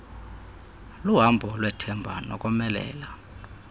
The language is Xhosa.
luhambo lwethemba nokomelela